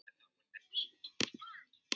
klettur í hafi, ávallt sönn.